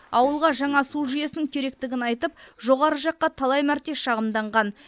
ауылға жаңа су жүйесінің керектігін айтып жоғары жаққа талай мәрте шағымданған